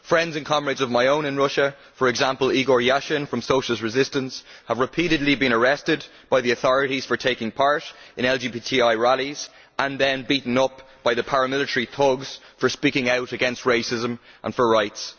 Friends and comrades of my own in Russia, for example Igor Yasin from Socialist Resistance, have repeatedly been arrested by the authorities for taking part in LGBTI rallies and been beaten up by paramilitary thugs for speaking out against racism and for rights.